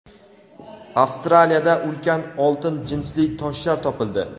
Avstraliyada ulkan oltin jinsli toshlar topildi.